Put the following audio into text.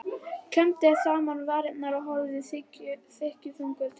Klemmdi saman varirnar og horfði þykkjuþung til lands.